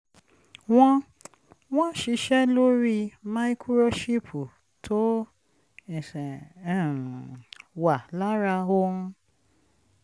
wọ́n wọ́n ṣiṣẹ́ lórí máíkúróṣípù tó um wà lára ohun